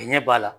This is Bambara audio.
Ɲɛ b'a la